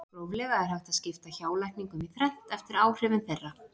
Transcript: gróflega er hægt að skipta hjálækningum í þrennt eftir áhrifum þeirra